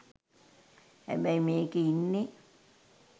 හැබැයි මේකේ ඉන්නේ